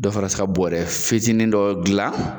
Dɔ fɛrɛ se ka bɔrɛ fitinin dɔ dilan